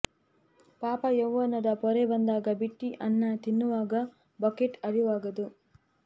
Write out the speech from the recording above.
ಪಾಪ ಯವ್ವನದ ಪೊರೆ ಬಂದಾಗ ಬಿಟ್ಟಿ ಅನ್ನ ತಿನ್ನುವಾಗ ಬಕೆಟ್ ಅರಿವಾಗದು